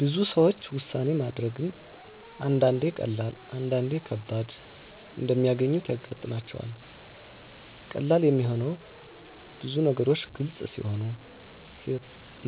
ብዙ ሰዎች ውሳኔ ማድረግን አንዳንዴ ቀላል፣ አንዳንዴ ግን ከባድ እንደሚያገኙት ያጋጥማቸዋል። ቀላል የሚሆነው ብዙ ነገሮች ግልጽ ሲሆኑ፣